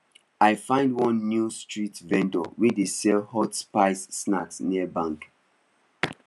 i find one new street vendor wey dey sell hot spicy snacks near bank